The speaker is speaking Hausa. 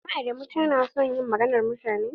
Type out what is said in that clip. Mama adamu ta na son yin maganan mutane.